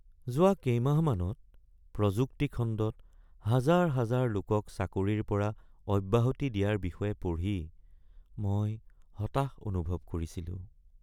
যোৱা কেইমাহমানত প্ৰযুক্তি খণ্ডত হাজাৰ হাজাৰ লোকক চাকৰিৰ পৰা অব্যাহতি দিয়াৰ বিষয়ে পঢ়ি মই হতাশ অনুভৱ কৰিছিলোঁ